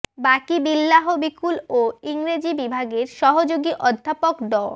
বাকি বিল্লাহ বিকুল ও ইংরেজি বিভাগের সহযোগী অধ্যাপক ড